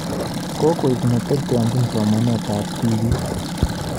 Kokoek ne teteanjin somanet ab tibiik